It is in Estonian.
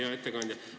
Hea ettekandja!